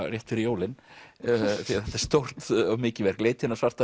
rétt fyrir jólin því þetta er stórt og mikið verk leitin að svarta